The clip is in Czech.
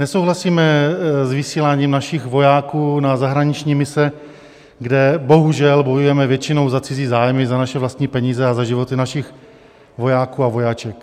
Nesouhlasíme s vysíláním našich vojáků na zahraniční mise, kde bohužel bojujeme většinou za cizí zájmy za naše vlastní peníze a za životy našich vojáků a vojaček.